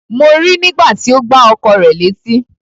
Mo rí nígbà tí ó gbá ọkọ rẹ̀ létí.